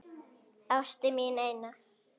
Ástin mín eina.